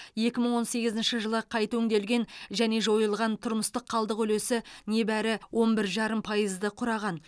екі мың он сегізінші жылы қайта өңделген және жойылған тұрмыстық қалдық үлесі небәрі он бір жарым пайызды құраған